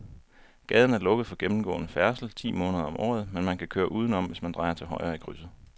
Gaden er lukket for gennemgående færdsel ti måneder om året, men man kan køre udenom, hvis man drejer til højre i krydset.